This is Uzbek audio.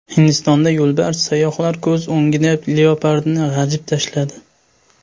Hindistonda yo‘lbars sayyohlar ko‘z o‘ngida leopardni g‘ajib tashladi.